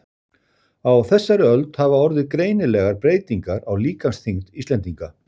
Á þessari öld hafa orðið greinilegar breytingar á líkamsþyngd Íslendinga.